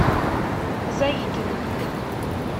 заикина